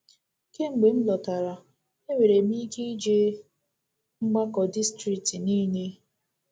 Kemgbe m lọtara, e nwere m ike jee mgbakọ distrikti niile.